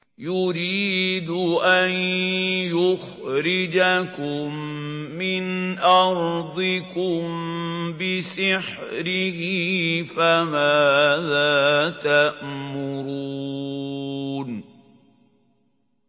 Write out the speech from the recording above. يُرِيدُ أَن يُخْرِجَكُم مِّنْ أَرْضِكُم بِسِحْرِهِ فَمَاذَا تَأْمُرُونَ